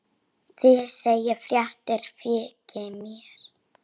Þið segið fréttir þykir mér!